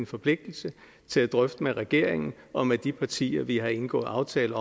forpligtelse til at drøfte med regeringen og med de partier vi har indgået aftale